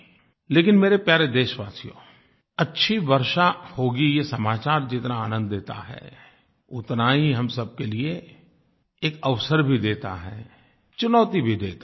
लेकिन मेरे प्यारे देशवासियो अच्छी वर्षा होगी ये समाचार जितना आनंद देता है उतना ही हम सबके लिए एक अवसर भी देता है चुनौती भी देता है